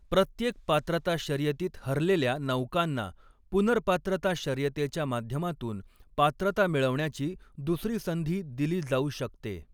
प्रत्येक पात्रता शर्यतीत हरलेल्या नौकांना पुनर्पात्रता शर्यतेच्या माध्यमातून पात्रता मिळवण्याची दुसरी संधी दिली जाऊ शकते.